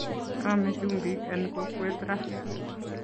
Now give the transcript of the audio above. Kisame chumbik en kokwet raaa